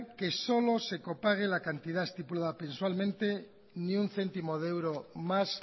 que solo se copague la cantidad estipulada mensualmente ni un céntimo de euro más